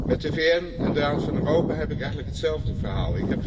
Met de VN en de Raad van Europa heb ik eigenlijk hetzelfde verhaal.